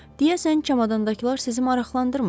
Deyəsən çamdadakılar sizi maraqlandırmır?